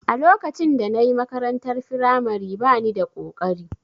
A lokacin da na yi makarantar firamare ba ni da ƙoƙari